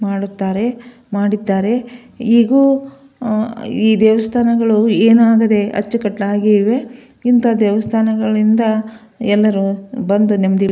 ಮಾಡುತ್ತಾರೆ ಮಾಡುತ್ತಾರೆ ಇದು ಅಹ್ ಈ ದೇವಸ್ಥಾನಗಳು ಏನಾಗದೆ ಅಚ್ಚುಕಟ್ಟಾಗಿವೆ ಇಂತ ದೇವಸ್ಥಾನಗಳಿಂದ ಎಲ್ಲರು ಬಂದು ನೆಮ್ಮದಿ --